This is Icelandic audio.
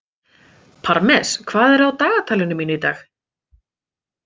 Parmes, hvað er á dagatalinu mínu í dag?